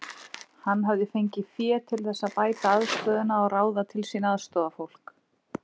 Hann hafði fengið fé til þess að bæta aðstöðuna og ráða til sín aðstoðarfólk.